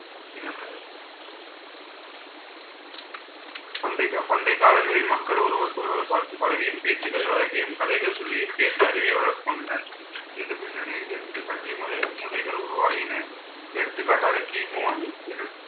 பண்டைக~ பண்டைய காலங்களில் மக்கள் ஒருவருக்கொருவர் பார்த்து பழகியும் பேச்சுக்களை வழங்கியும் கதைகள் சொல்லியும் கேட்டு அறிவையும் வளர்த்துக்கொண்டனர் இந்த பின்னணியில் இருந்து கல்வி முறை~ முறைகள் உருவாகின. எடுத்துக்காட்டாக கிமு